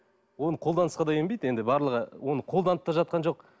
оны қолданысқа да енбейді енді барлығы оны қолданып та жатқан жоқ